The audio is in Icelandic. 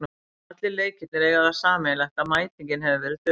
Allir leikirnir eiga það sameiginlegt að mætingin hefur verið döpur.